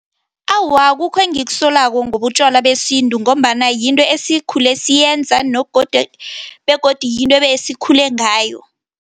Awa, akukho engikusolako ngotjalwa besintu, ngombana yinto esikhule siyenza begodu yinto esikhule ngayo.